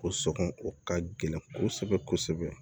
Ko sɔngɔ o ka gɛlɛn kosɛbɛ kosɛbɛ